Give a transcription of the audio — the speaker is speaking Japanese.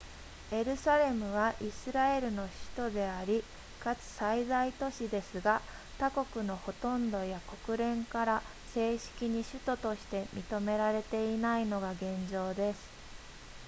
エルサレムはイスラエルの首都でありかつ最大都市ですが他国のほとんどや国連から正式に首都として認められていないのが現状です